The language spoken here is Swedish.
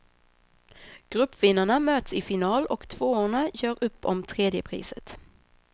Gruppvinnarna möts i final och tvåorna gör upp om tredjepriset.